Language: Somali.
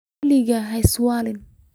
Waligaa haiswalin .